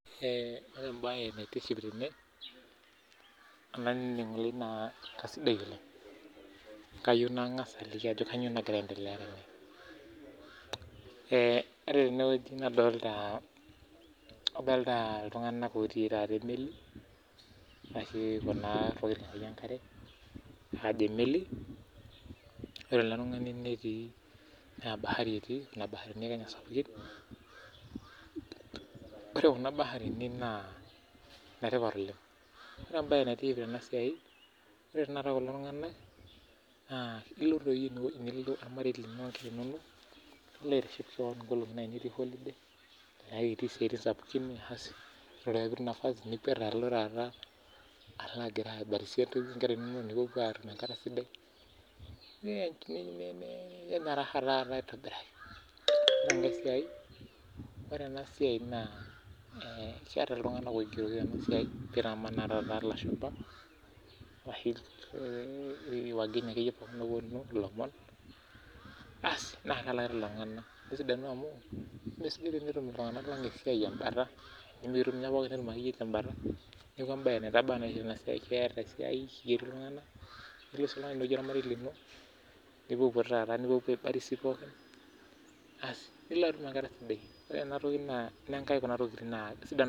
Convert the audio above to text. Ore ebae naitiship tene, olainining'oni lai naa kasidai oleng. Kayieu nang'asa aliki ajoki kanyioo nagira aendelea tene. Ore tenewueji nadolta iltung'anak otii taata emeli, ashu kuna tokiting akeyie enkare, ajo emeli, ore ele tung'ani netii naa bahari etii, nena baarini akenye sapukin. Ore kuna baarini naa netipat oleng. Ore ebae naitiship tenasiai, ore tanakata kulo tung'anak, naa ilo toi nilo ormarei linonok, nilo aitiship keon nkolong'i nai nitii holiday, naa itii isiaitin sapukin. Ore ake pitum nafasi, nikwet alo taata alo agira aibarisie onkera inonok nipuopuo atum enkata sidai, ninyanya raha taata aitobiraki. Ore enasiai naa, keeta iltung'anak oigeroki tenasiai ogira amanaa ata anaa lashumpa, ashu wageni akeyie oponu ilomon, asi naa kelaki lelo tung'anak. Nesidanu amu, kesidai tenetum iltung'anak lang esiai embata, enimikitum nye pookin netum akeyie nye embata, neeku ebae etaba nye enasiai, keeta esiai kigeri iltung'anak, nilo si inewueji ormarei lino, nipuopuo taata nipuopuo aibarisiko, asi nilo atum enkata sidai. Ore enatoki naa, inenkai kuna tokiting naa sidan.